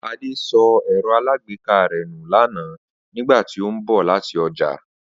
Adé so̩ è̩ro̩ alágbèéká rè̩ nù lánàá nígbà tí ó ń bò̩ láti o̩jà